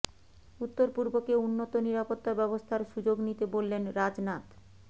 উত্তর পূর্বকে উন্নত নিরাপত্তা ব্যবস্থার সুযোগ নিতে বললেন রাজনাথ